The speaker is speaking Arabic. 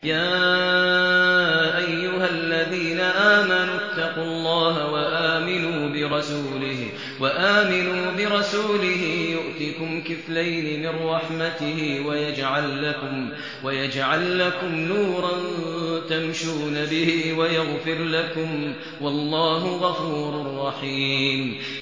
يَا أَيُّهَا الَّذِينَ آمَنُوا اتَّقُوا اللَّهَ وَآمِنُوا بِرَسُولِهِ يُؤْتِكُمْ كِفْلَيْنِ مِن رَّحْمَتِهِ وَيَجْعَل لَّكُمْ نُورًا تَمْشُونَ بِهِ وَيَغْفِرْ لَكُمْ ۚ وَاللَّهُ غَفُورٌ رَّحِيمٌ